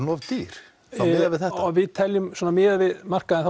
of dýr miðað við þetta við teljum miðað við markaðinn